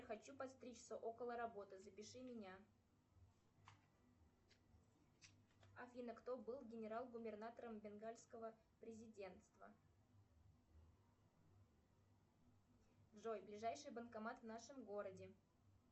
хочу подстричься около работы запиши меня афина кто был генерал губернатором бенгальского президентства джой ближайший банкомат в нашем городе